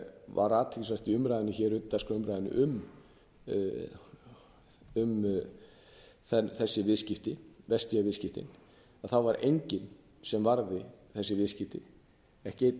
var athyglisvert hér í utandagskrárumræðunni um þessi viðskipti vestia viðskiptin að þá var enginn sem varði þessi viðskipti ekki